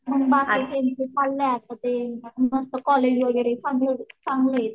यंदा आता त्यांचं चालल्यात कुठे मस्त कॉलेज वगैरे चांगलेत.